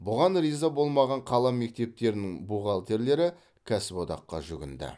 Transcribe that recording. бұған риза болмаған қала мектептерінің бухгалтерлері кәсіподаққа жүгінді